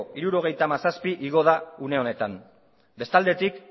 hirurogeita hamazazpi igo da une honetan bestaldetik